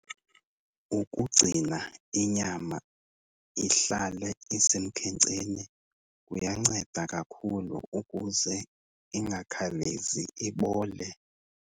Ukugcina inyama ihlale isemkhenceni kuyanceda kakhulu ukuze ingakhawulezi ibole.